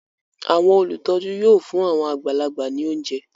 Àwọn olùtọ́jú yóò fún àwọn àgbàlagbà ní oúnjẹ